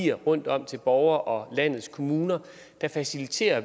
giver rundtom til borgere og landets kommuner faciliterer